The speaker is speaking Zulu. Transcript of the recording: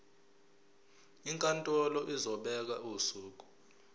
inkantolo izobeka usuku